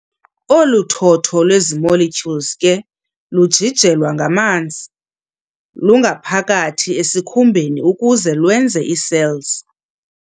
Olu thotho lwezi molecules ke lujijelwa ngamanzi lungaphakathi ezikhumbeni ukuze lwenze ii-cells.